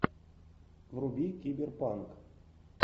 вруби киберпанк